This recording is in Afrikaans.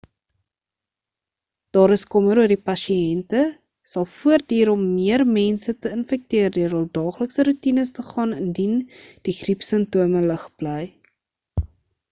daar is kommer oor dat pasiënte sal voortduur om meer mense te infekteer deur hul daaglikse roetines te gaan indien die griepsimptome lig bly